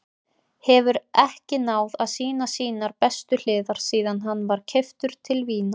Hefur ekki náð að sýna sínar bestu hliðar síðan hann var keyptur til Vínar.